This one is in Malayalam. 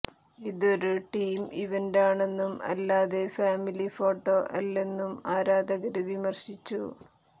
ഇതൊരു ടീം ഇവന്റാണെന്നും അല്ലാതെ ഫാമിലി ഫോട്ടോ അല്ലെന്നും ആരാധകര് വിമര്ശിച്ചു